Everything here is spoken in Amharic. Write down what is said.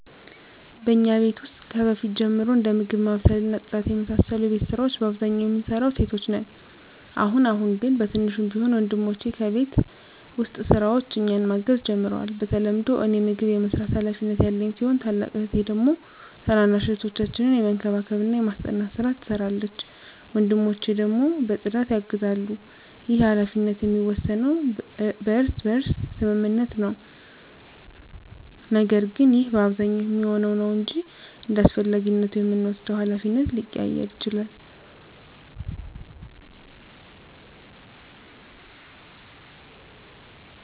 በእኛ ቤት ውስጥ ከበፊት ጀምሮ እንደ ምግብ ማብሰል እና ጽዳት የመሳሰሉ የቤት ስራወች በአብዛኛው የምንሰራው ሴቶች ነን። አሁን አሁን ግን በትንሹም ቢሆን ወንድሞቸ በቤት ውስጥ ስራዎች እኛን ማገዝ ጀምረዋል። በተለምዶ እኔ ምግብ የመስራት ሀላፊነት ያለኝ ሲሆን ታላቅ እህቴ ደግሞ ታናናሽ እህቶቻችንን የመንከባከብና የማስጠናት ስራ ትሰራለች። ወንድሞቸ ደግሞ በፅዳት ያግዛሉ። ይህ ሀላፊነት የሚወሰነው በእርስ በርስ ስምምነት ነው። ነገር ግን ይህ በአብዛኛው የሚሆነው ነው እንጅ እንዳስፈላጊነቱ የምንወስደው ሀላፊነት ሊቀያየር ይችላል።